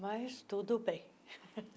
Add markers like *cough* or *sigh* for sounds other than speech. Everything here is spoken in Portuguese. Mas tudo bem. *laughs*